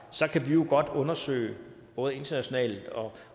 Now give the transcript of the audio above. kan vi jo godt undersøge både internationalt og